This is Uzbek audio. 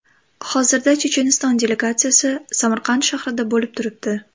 Hozirda Checheniston delegatsiyasi Samarqand shahrida bo‘lib turibdi.